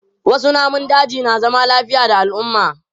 Wasu namun dajin na zama lafiya da al'umma.